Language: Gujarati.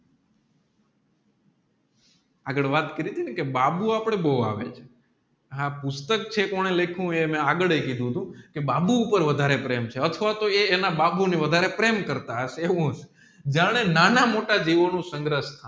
આગળ વાત કરીતીને કે બાબુ આપડે બો આવે આપુષ્ટક છે કોને લેખું મેં આગળ કીધું તું કે બાબુ ઉપર વધારે પ્રેમ છે અથવા તોહ એ એના બાબુને વધારે પ્રેમ કરતા હશે એવું જયારે નાના મોટા દિવસ